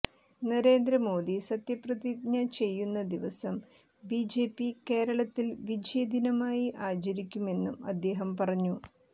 നരേന്ദ്ര മോദി സത്യപ്രതിജ്ഞ ചെയ്യുന്ന ദിവസം ബിജെപി കേരളത്തിൽ വിജയദിനമായി ആചരിക്കുമെന്നും അദ്ദേഹം പറഞ്ഞു